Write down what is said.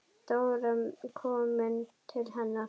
Dóra kom til hennar.